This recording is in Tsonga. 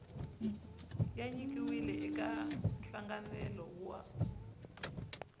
ya nyikiwile eka nhlanganelo wa